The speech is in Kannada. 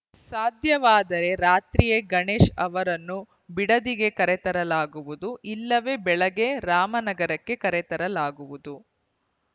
ಸಾಧ್ಯವಾದರೆ ರಾತ್ರಿಯೇ ಗಣೇಶ್‌ ಅವರನ್ನು ಬಿಡದಿಗೆ ಕರೆತರಲಾಗುವುದು ಇಲ್ಲವೇ ಬೆಳಗ್ಗೆ ರಾಮನಗರಕ್ಕೆ ಕರೆತರಲಾಗುವುದು